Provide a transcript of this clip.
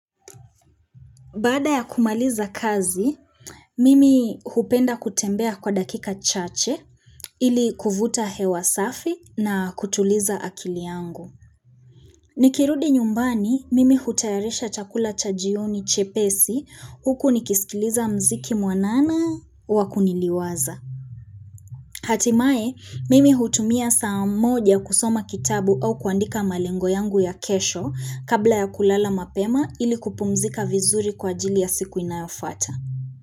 Bada ya kumaliza kazi, mimi hupenda kutembea kwa dakika chache ili kuvuta hewasafi na kutuliza akili yangu. Nikirudi nyumbani, mimi hutayarisha chakula cha jioni chepesi huku nikisikiliza mziki mwanana wakuniliwaza. Hatimaye, mimi hutumia saa moja kusoma kitabu au kuandika malengo yangu ya kesho kabla ya kulala mapema ili kupumzika vizuri kwa jili ya siku inayofuata.